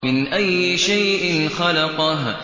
مِنْ أَيِّ شَيْءٍ خَلَقَهُ